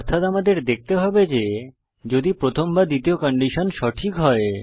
অর্থাৎ আমাদের দেখতে হবে যে যদি প্রথম বা দ্বিতীয় কন্ডিশন সঠিক হয়